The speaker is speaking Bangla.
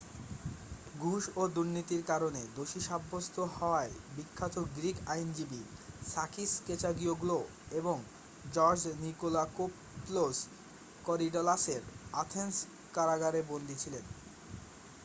ঘুষ ও দুর্নীতির কারণে দোষী সাব্যস্ত হওয়ায় বিখ্যাত গ্রীক আইনজীবী সাকিস কেচাগিওগ্লো এবং জর্জ নিকোলাকোপল্লোস কোরিডালাসের অ্যাথেন্স কারাগারে বন্দী ছিলেন